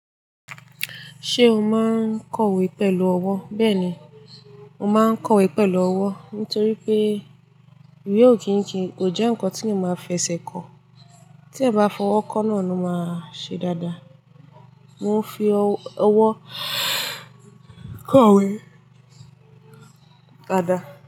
Ṣé o máa ń kọ̀wé pẹ̀lú ọwọ́? Bẹ́ẹ̀ni, mo máa ń kọ̀wé pẹ̀lú ọwọ́. Nítorí pé ìwé ò kì í kì í, kò jẹ́ nǹkan tí mo máa fẹsẹ̀ kọ. Tí a bá fọwọ́ kọ́ náà ló máa ṣe dáadáa. Mo ń fi ọwọ́ kọ̀wé dáadáa.